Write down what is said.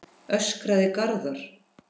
öskraði Garðar.